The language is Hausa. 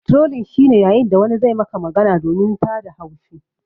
Trolling shi ne yayin da wani zai Maka magana domin tada haushi.